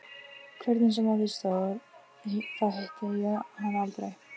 Hvernig sem á því stóð, þá hitti ég hana aldrei